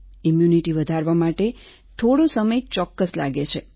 immunity વધારવા માટે થોડો સમય ચોક્કસ લાગે છે